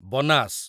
Banas